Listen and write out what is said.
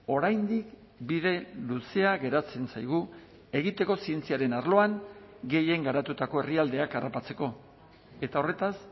oraindik bide luzea geratzen zaigu egiteko zientziaren arloan gehien garatutako herrialdeak harrapatzeko eta horretaz